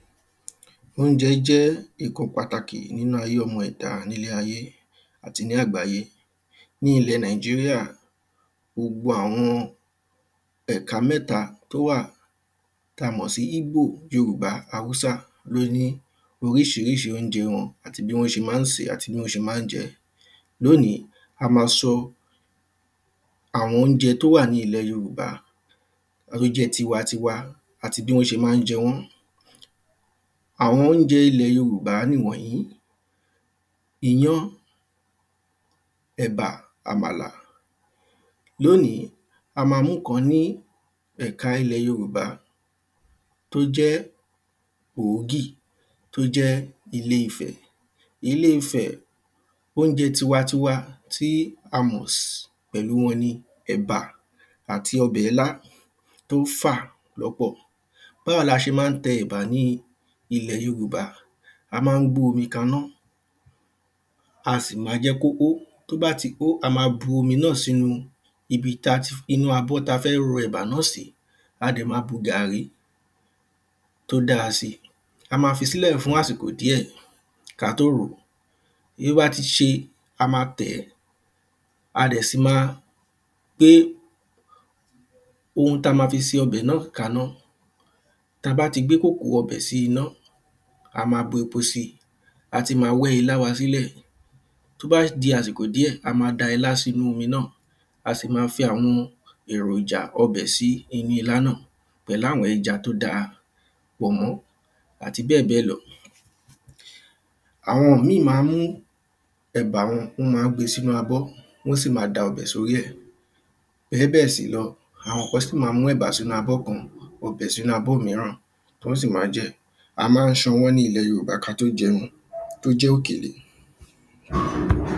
Óúnjẹ jẹ́ nǹkan pàtàkì fún ọmọ ẹ̀dá nílé ayé àti ní àgbáyé. Ní ilẹ̀ nàìjíríà gbogbo àwọn ẹ̀ka mẹ́ta tó wà tá mọ̀ sí igbó yorùbá haúsá lé ní oríṣiríṣi óúnjẹ wọn àti bí wọ́n ṣe má ń sèé. Lónìí a má sọ àwọn óúnjẹ tó wà ní ilẹ̀ yorùbá ó jẹ́ tiwa tiwa àti bí wọ́n ṣé má ń jẹ wọ́n àwọn óúnjẹ ilẹ̀ yorùbá nìwònjìí iyán ẹ̀bà àmàlà. Lónìí a má mú nǹkan ní ẹ̀ka ilẹ̀ yorùbá tó jẹ́ òógì tó jẹ́ ilé ifẹ̀. Ilé ifẹ̀ óúnjẹ tiwa tiwa tí a mọ̀ pẹ̀lú wọn ni ẹ̀bà àti ọbẹ̀ ilá tó ń fà pọ̀pọ̀. Báwo la ṣe má ń tẹ ẹ̀bà ní ilẹ̀ yorùbá a má ń gbé omi kaná a sì má jẹ́ kó hó tó bá ti hó a má bu omi náà sínú ibi tá ti inú abọ́ tá fẹ́ ro ẹ̀bà náà sí a dẹ̀ má bu gàrrí tó dá sí. a má fisílẹ̀ fún àsìkò díẹ̀ ká tó ròó tí ó bá ti ṣe a má tẹ̀ ẹ́ a dẹ̀ sì má gbé ohun tá má fi se ọbẹ̀ náà kaná Tá bá ti gbé kòkò ọbẹ̀ sí iná a má bu epo sí a ti má wẹ́ ilá wa sílẹ̀. Tó bá di àsìkò díẹ̀ a má da ilá wa sínú omi náà a sì má fi àwọn èròjà ọbè sí inú ilá náà pẹ̀lú àwọn ẹja tó dá pọ̀nmọ́ àti bẹ́ẹ̀ bẹ́ẹ̀ lọ. Àwọn míì má ń mú ẹ̀bà wọn wọ́n má ń gbé sínú abọ́ wọ́n sì má ń gbé sórí ẹ̀ gẹ́gẹ́ bẹ́ẹ̀ sì lọ àwọn kan sì má ń mú ẹ̀bà wọn sínú abọ́ kan bu ọbẹ̀ sínú abọ́ míràn kí wọ́n sì má jẹ́ A má ń ṣan ọwọ́ ní ilẹ̀ yorùbá ká tó jẹun tó jẹ́ òkèlè?